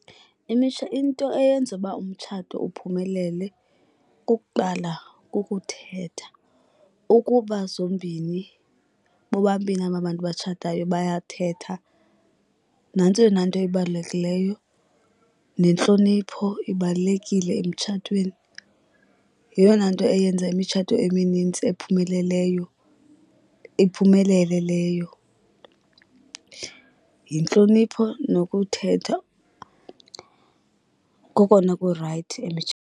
Into eyenza uba umtshato uphumelele kukuqala kukuthetha. Ukuba zombini bobabini aba bantu batshatayo bayathetha nantso eyona nto ibalulekileyo, nentlonipho ibalulekile emtshatweni. Yeyona nto eyenza imitshato eminintsi ephumeleleyo iphumelele leyo, yintlonipho nokuthetha kokona kurayithi .